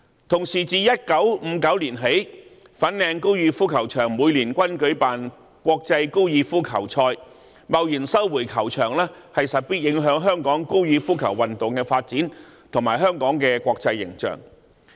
同時，自1959年起，粉嶺高爾夫球場每年均舉辦國際高爾夫球賽，貿然收回球場勢必影響香港高爾夫球運動的發展和香港的國際形象。